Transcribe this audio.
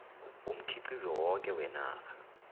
womkhiqizo woke wenarha